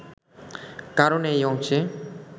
কারণ এই অংশে